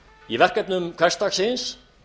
í verkefnum hversdagsins